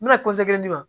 N bɛna di ma